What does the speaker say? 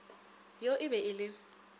yo e be e le